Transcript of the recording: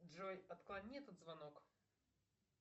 джой отклони этот звонок